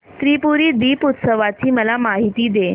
त्रिपुरी दीपोत्सवाची मला माहिती दे